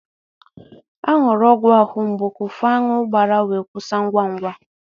A ṅụrụ ọgwụ ahụ mgbu ka ufu aṅụ gbàrà wee kwụsị ngwa ngwa.